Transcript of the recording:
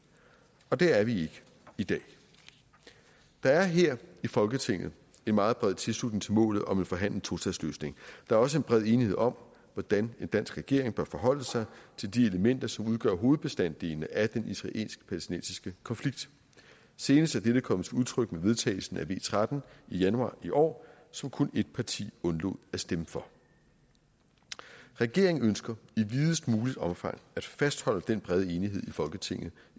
og der er vi ikke i dag der er her i folketinget en meget bred tilslutning til målet om en forhandlet tostatsløsning der er også en bred enighed om hvordan en dansk regering bør forholde sig til de elementer som udgør hovedbestanddelene af den israelsk palæstinensiske konflikt senest er dette kommet til udtryk med vedtagelsen af v tretten i januar i år som kun ét parti undlod at stemme for regeringen ønsker i videst muligt omfang at fastholde den brede enighed i folketinget